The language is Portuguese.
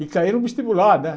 E caía no vestibular, né?